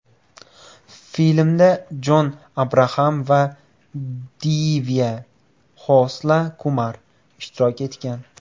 Filmda Jon Abraxam va Divya Xosla Kumar ishtirok etgan.